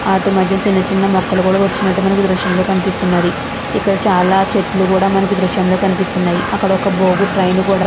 వాటి మధ్య చిన్న చిన్న మొక్కలు కూడా వచినట్టు మనకి ఈ దృశ్యం లో కనిపిస్తున్నది. ఇక్కడ చాల చెట్లు కూడా మనకి ఈ దృశ్యం లో కనిపిస్తున్నాయి అక్కడ ఒక బోగు ట్రైన్ కూడా --